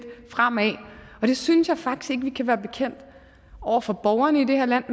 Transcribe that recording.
fremad og det synes jeg faktisk ikke vi kan være bekendt over for borgerne i det her land